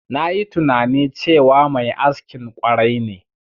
Nayi tunani cewa mai askin ƙwarai ne.